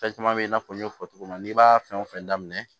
Fɛn caman bɛ i n'a fɔ n y'a fɔ cogo min na n'i b'a fɛn wo fɛn daminɛ